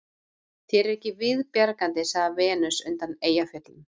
Þér er ekki viðbjargandi, sagði Venus undan Eyjafjöllum